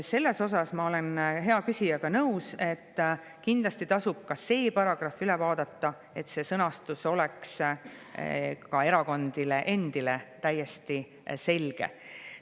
Selles osas ma olen hea küsijaga nõus, et kindlasti tasub ka see paragrahv üle vaadata, et see sõnastus oleks ka erakondadele endile täiesti selge.